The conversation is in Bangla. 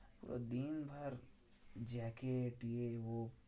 দিনভর জ্যাকেট ইয়ে ও